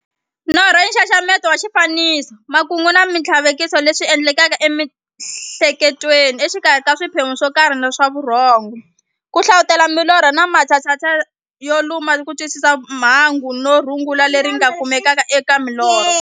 Norho i nxaxamelo wa swifaniso, makungu na minthlaveko leswi ti endlekelaka e mi'hleketweni exikarhi ka swiphemu swokarhi swa vurhongo. Ku hlavutela milorho i matshalatshala yo kuma kutwisisa mungo na rungula leri nga kumekaka eka milorho.